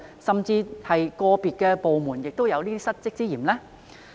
甚至個別部門是否亦有失職之嫌呢？